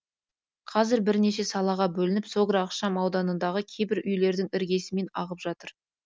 қазір бірнеше салаға бөлініп согра ықшам ауданындағы кейбір үйлердің іргесімен ағып жатыр